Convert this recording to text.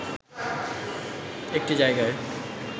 একটি জায়গায়